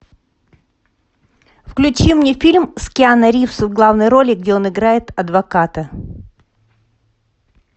включи мне фильм с киану ривз в главной роли где он играет адвоката